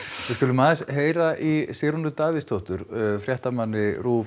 við skulum aðeins heyra í Sigrúnu Davíðsdóttur fréttamanni